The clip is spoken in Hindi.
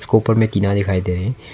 ऊपर में टीना दिखाई दे रही--